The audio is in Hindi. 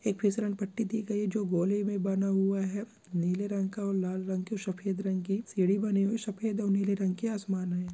एक फिसल पट्टी दी गई है जो गोले में बन गया है नीले रंग का और लाल रंग के सफेद रंग के सीढ़ी बनी हुई है सफेद और नीले रंग के आसमान मे |